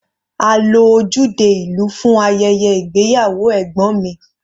A lo ojúde ìlú fún ayẹyẹ ìgbéyàwó ẹ̀gbọ́n mi.